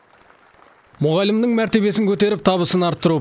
мұғалімнің мәртебесін көтеріп табысын арттыру